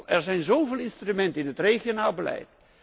Er zijn zoveel instrumenten in het regionaal beleid.